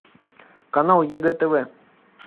канал егэ тв